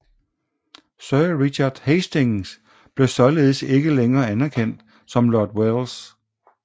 Sir Richard Hastings blev således ikke længere anerkendt som Lord Welles